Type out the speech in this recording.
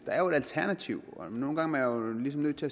der er jo et alternativ og nogle gange er man ligesom nødt til